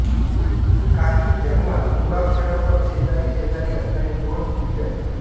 काही जर्मन मुळाक्षरांवर शेजारीशेजारी असणारी दोन टिंबे असतात